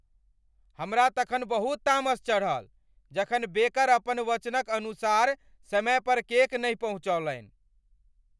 हमरा तखन बहुत तामस चढ़ल जखन बेकर अपन वचनक अनुसार समय पर केक नहि पहुँचौलनि।